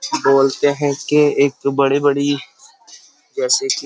बोलते हैं कि एक बड़ी-बड़ी जैसे --